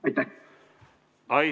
Aitäh!